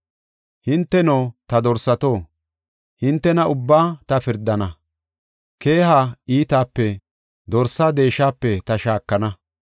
Hinteno, ta dorsato, “Hintena ubbaa ta pirdana; keeha iitaape, dorsaa deeshape ta shaakana.